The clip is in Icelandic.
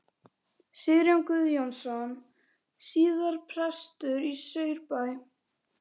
Sigurjón Guðjónsson, síðar prestur í Saurbæ.